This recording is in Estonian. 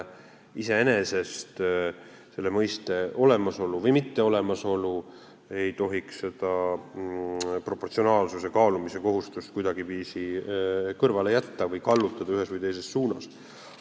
Iseenesest ei tohiks selle mõiste olemasolu või mitteolemasolu proportsionaalsuse kaalumise kohustust kuidagiviisi kõrvale jätta või ühes või teises suunas kallutada.